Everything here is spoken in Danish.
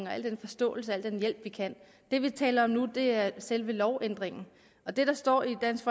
og al den forståelse og al den hjælp vi kan det vi taler om nu er selve lovændringen og det der står i dansk